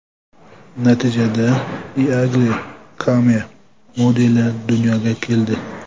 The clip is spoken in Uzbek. Natijada Eagle Came modeli dunyoga keldi.